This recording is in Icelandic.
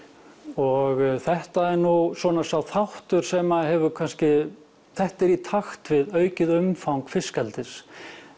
og þetta er nú svona sá þáttur sem kannski þetta er í takti við aukið umfang fiskeldis